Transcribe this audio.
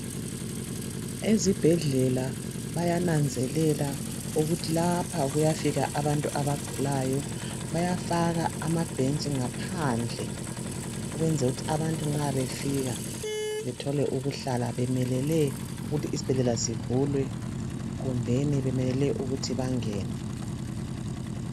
ezibhedlela bayananzelela ukuthi lapha kuyafika abantu abagulayo bayafaka amabhentshi ngaphandle ukwenzela ukuthi abantu nxa befika bethole ukuhlala bemelele ukuthi isibhedlela sivulwe kumbe bemelele ukuthi bangene